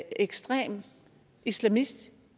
ekstrem islamist